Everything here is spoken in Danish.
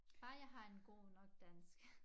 Bare jeg har en god nok dansk